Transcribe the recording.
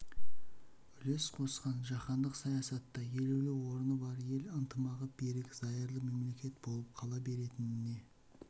үлес қосатын жаһандық саясатта елеулі орны бар ел ынтымағы берік зайырлы мемлекет болып қала беретініне